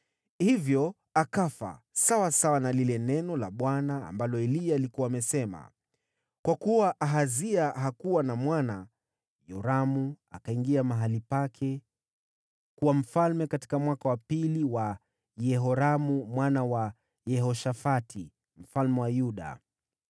Hivyo akafa, sawasawa na lile neno la Bwana ambalo Eliya alikuwa amesema. Kwa kuwa Ahazia hakuwa na mwana, Yoramu akawa mfalme baada yake katika mwaka wa pili wa Yehoramu mwana wa Yehoshafati mfalme wa Yuda.